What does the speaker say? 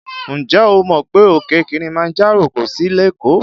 Ǹjẹ́ o mọ̀ pé òkè Kilimanjaro kò sí lékòó?